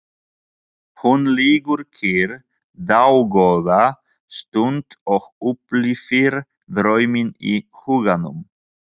Hún liggur kyrr dágóða stund og upplifir drauminn í huganum.